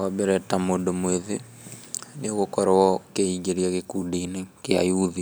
Wambere ta mũndũ mwĩthĩ, nĩgukorwo kĩingĩria gĩkundi-inĩ kĩa youth,